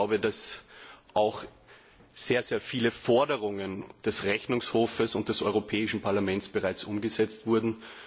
Ich glaube, dass auch sehr viele Forderungen des Rechnungshofs und des Europäischen Parlaments bereits umgesetzt wurden.